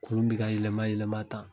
Kurun bi ka yɛlɛma yɛlɛma tan